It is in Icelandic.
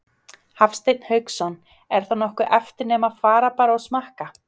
Hafsteinn Hauksson: Er þá nokkuð eftir nema fara bara og smakka?